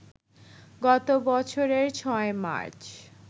গত বছরের ৬ মার্চ